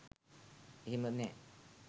එහෙම නෑ.